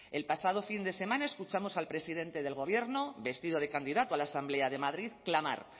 el pasado fin de semana escuchamos al presidente del gobierno vestido de candidato a la asamblea de madrid clamar